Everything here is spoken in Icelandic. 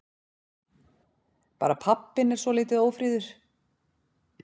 Bara pabbinn er svolítið ófríður.